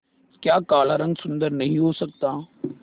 क्या काला रंग सुंदर नहीं हो सकता